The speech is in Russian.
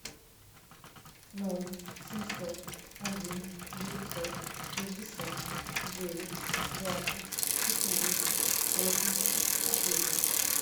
ноль семьсот один девятьсот шестьдесят девять двадцать четыре восемьдесят девять